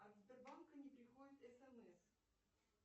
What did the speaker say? от сбербанка не приходит смс